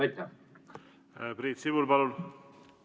Priit Sibul, palun!